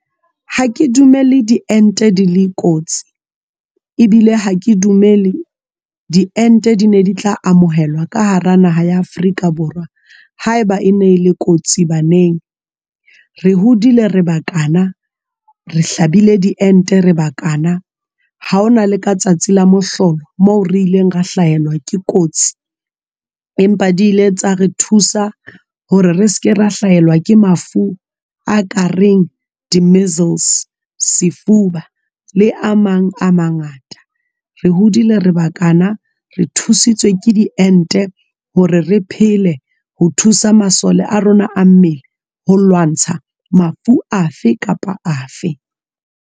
Ha ke dumele di ente di le kotsi ebile ha ke dumele di ente di ne di tla amohelwa ka hara naha ya Afrika Borwa ha eba e ne le kotsi baneng re hodile re ba kana re hlabile di ente re ba kana ha hona le ka tsatsi la mohlolo moo re ileng ra hlaelwa ke kotsi empa di ile tsa re thusa hore re seke ra hlaelwa ke mafu a ka reng di-measles, sefuba le a mang a mangata, re hodile reba kana re thusitswe ke di ente hore re phele ho thusa masole a rona a mmele ho lwantsha mafu afe kapa afe.